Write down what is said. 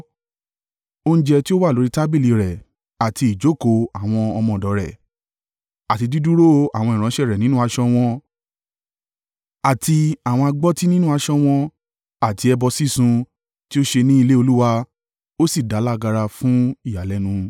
oúnjẹ tí ó wà lórí tábìlì rẹ̀, àti ìjókòó àwọn ọmọ ọ̀dọ̀ rẹ̀, àti dídúró àwọn ìránṣẹ́ nínú aṣọ wọn, àti àwọn agbọ́tí nínú aṣọ wọn àti ẹbọ sísun tí ó ṣe ní ilé Olúwa, ó sì dá a lágara fún ìyàlẹ́nu.